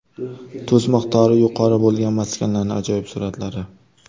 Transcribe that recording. Tuz miqdori yuqori bo‘lgan maskanlarning ajoyib suratlari .